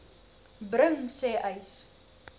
bring sê uys